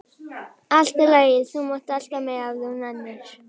Allt í lagi, þú mátt elta mig ef þú nennir.